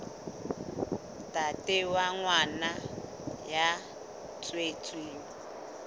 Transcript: ntate wa ngwana ya tswetsweng